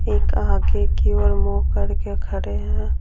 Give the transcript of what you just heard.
एक आगे की ओर मुँह करके खड़े हैं।